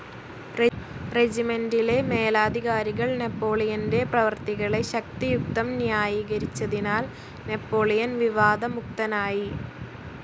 റെജിമെന്റിലെ മേലധികാരികൾ നെപോളിയന്റെ പ്രവൃത്തികളെ ശക്തിയുക്തം ന്യായീകരിച്ചതിനാൽ നാപ്പോളിയൻ വിവാദമുക്തനായി.